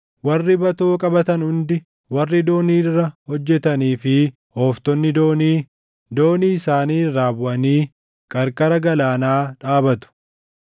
Warri batoo qabatan hundi, warri doonii irra hojjetanii fi ooftonni doonii, doonii isaanii irraa buʼanii qarqara galaanaa dhaabatu.